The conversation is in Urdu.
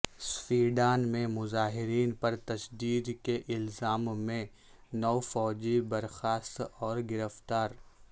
سوڈان میں مظاہرین پر تشدد کے الزام میں نو فوجی برخاست اور گرفتار